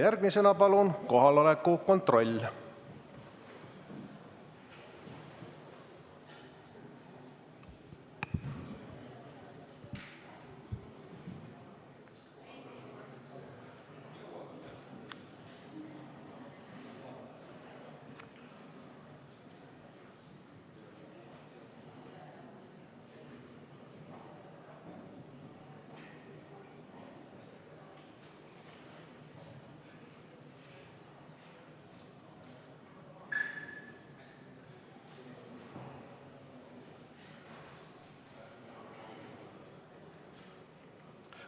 Järgmisena palun kohaloleku kontroll!